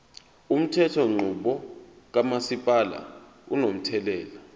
umthethonqubo kamasipala unomthelela